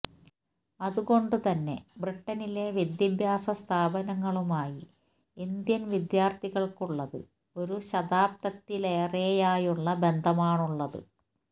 അതുകൊണ്ടുതന്നെ ബ്രിട്ടനിലെ വിദ്യാഭ്യാസ സ്ഥാപനങ്ങളുമായി ഇന്ത്യൻ വിദ്യാർത്ഥികൾക്കുള്ളത് ഒരു ശതാബ്ദത്തിലേറെയായുള്ള ബന്ധമാണുള്ളത്